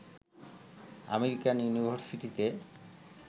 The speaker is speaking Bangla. আমেরিকান ইউনিভারসিটিতে